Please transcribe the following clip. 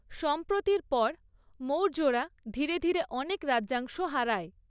সম্প্রতির পর, মৌর্যরা ধীরে ধীরে অনেক রাজ্যাংশ হারায়।